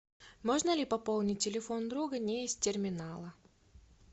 можно ли пополнить телефон друга не из терминала